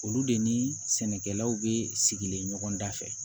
Olu de ni sɛnɛkɛlaw be sigilen da fɛ